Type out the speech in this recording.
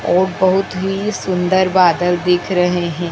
और बहुत ही सुंदर बादल दिख रहे हैं।